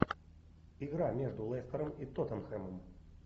игра между лестером и тоттенхэмом